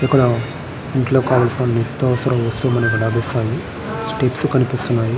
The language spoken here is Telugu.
ఇక్కడ ఇంట్లోకి కావలసిన నిత్యవసర వస్తువులు మనకు లభిస్తాయి. స్టెప్స్ కనిపిస్తున్నాయి.